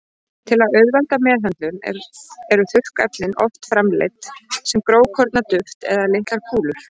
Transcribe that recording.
Til að auðvelda meðhöndlun eru þurrkefnin oft framleidd sem grófkorna duft eða litlar kúlur.